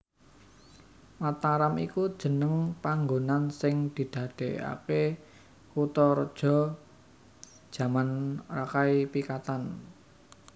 Mataram iku jeneng panggonan sing didadèkaké kutharaja jaman Rakai Pikatan